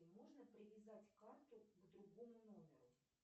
можно привязать карту к другому номеру